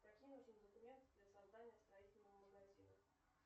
какие нужны документы для создания строительного магазина